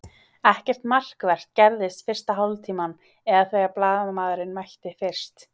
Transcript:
Ekkert markvert gerðist fyrsta hálftímann eða þegar blaðamaðurinn mætti fyrst.